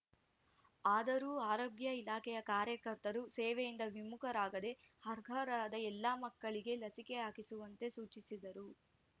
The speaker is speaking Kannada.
ಆದರೂ ಆರೋಗ್ಯ ಇಲಾಖೆಯ ಕಾರ್ಯಕರ್ತರು ಸೇವೆಯಿಂದ ವಿಮುಖರಾಗದೇ ಅರ್ಹರಾದ ಎಲ್ಲಾ ಮಕ್ಕಳಿಗೆ ಲಸಿಕೆ ಹಾಕಿಸುವಂತೆ ಸೂಚಿಸಿದರು